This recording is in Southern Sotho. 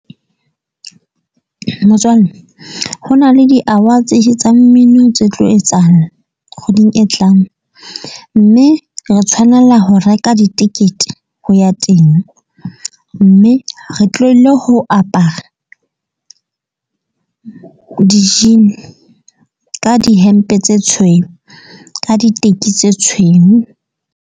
Motswalle ho na le di-awards tsa mmino tse tlo etsahala kgweding e tlang. Mme re tshwanela ho reka ditekete ho ya teng, mme re tlohelle ho apara di-jean ka dihempe tse tshweu ka diteki tse tshweu.